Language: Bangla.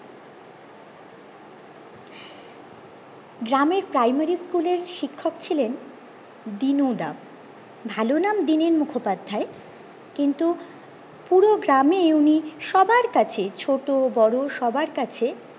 গ্রামের প্রাইমারি school এর শিক্ষক ছিলেন দিনু দা ভালো নাম দীনেন মুখোপাধ্যায় কিন্তু পুরো গ্রামে উনি সবার কাছে ছোট বড়ো সবার কাছে